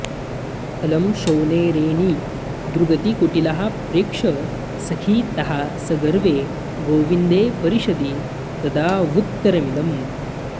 अलं शोणैरेणीदृगतिकुटिलाः प्रेक्ष्य सखि ताः सगर्वे गोविन्दे परिषदि ददावुत्तरमिदम्